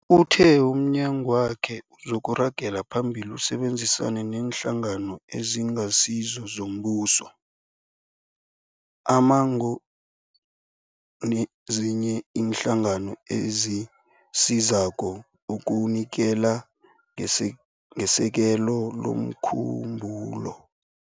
Uthe umnyagwakhe uzoragela phambili usebenzisane neeNhlangano eziNgasizo zoMbuso, ama-NGO, nezinye iinhlangano ezisizako ukunikela ngesekelo lomkhumbulo